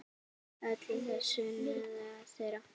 Öllu þessu náðu þeir.